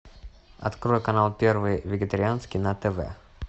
открой канал первый вегетарианский на тв